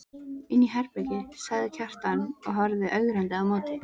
Inni í herbergi, sagði Kjartan og horfði ögrandi á móti.